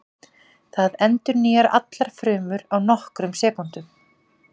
Það endurnýjar allar frumur á nokkrum sekúndum.